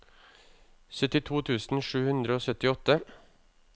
syttito tusen sju hundre og syttiåtte